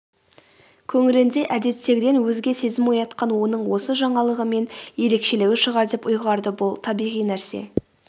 көңілінде әдеттегіден өзге сезім оятқан оның осы жаңалығы мен ерекшелігі шығар деп ұйғарды бұл табиғи нәрсе